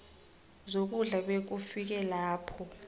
zokudla bekufike lapho